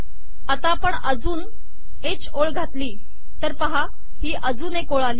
आता आपण एक अजून ह ओळ घातली तर पहा ही अजून एक ओळ आली